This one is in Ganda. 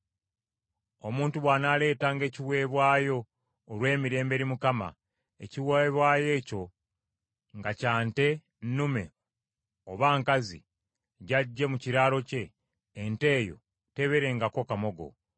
“ ‘Omuntu bw’anaaleetanga ekiweebwayo olw’emirembe eri Mukama , ekiweebwayo ekyo nga kya nte nnume oba nkazi gy’aggye mu kiraalo kye, ente eyo tebeerengako kamogo.